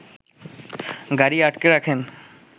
গাড়ি আটকে রাখেন